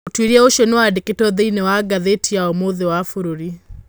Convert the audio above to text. ũtwĩria ũcio nĩwandĩkĩtwo thĩinĩĩ wa gatheti ya ũmũthĩ ya bũrũri.